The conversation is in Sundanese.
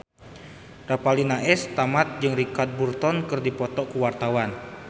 Revalina S. Temat jeung Richard Burton keur dipoto ku wartawan